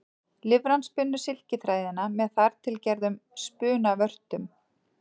Lirfan spinnur silkiþræðina með þar til gerðum spunavörtum.